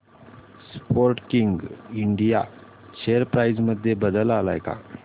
Sportking India share price मध्ये बदल आलाय का